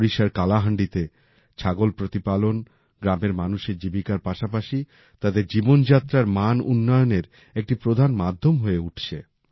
ওড়িশার কালাহান্ডিতে ছাগল প্রতিপালন গ্রামের মানুষের জীবিকার পাশাপাশি তাদের জীবনযাত্রার মান উন্নয়নের একটি প্রধান মাধ্যম হয়ে উঠছে